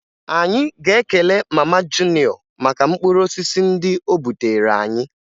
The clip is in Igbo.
Anyị ga-ekele mama Juniọ maka mkpụrụosisi ndị o butere anyị